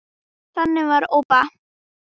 Þannig var Obba.